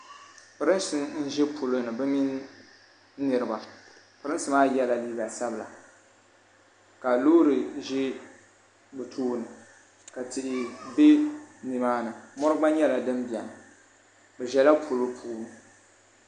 pɛrinsi n ʒɛ poloni bɛ min niriba pɛrinsi maa yɛla liga sabila ka lori ʒɛ be tuuni ka tihi bɛ ni maa ni mori gba nyɛla din bɛni be ʒɛla polo puuni